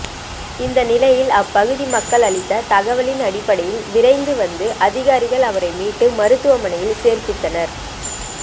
இந்த நிலையில் அப்பகுதி மக்கள் அளித்த தகவலின் அடிப்படையில் விரைந்து வந்த அதிகாரிகள் அவரை மீட்டு மருத்துவமனையில் சேர்ப்பித்தனர்